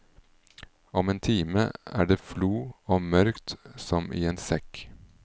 Om en time er det flo og mørkt som i en sekk.